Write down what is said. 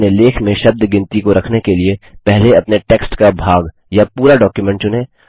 अपने लेख में शब्द गिनती को रखने के लिए पहले अपने टेक्स्ट का भाग या पूरा डॉक्युमेंट चुनें